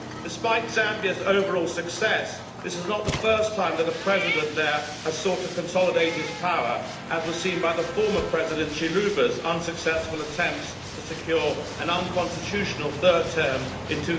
Despite Zambia's overall success, this is not the first time that a President there has sought to consolidate his power, as was seen by the former President Chiluba's unsuccessful attempts to secure an unconstitutional third term in